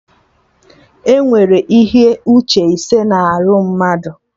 Enwere ihe uche ise na arụ mmadụ